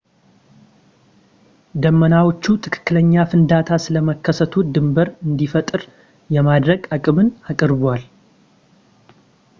ዳመናዎቹ ትክክለኛ ፍንዳታ ስለመከሰቱ ድንብር እንዲፈጠር የማድረግ አቅምን አቅርበዋል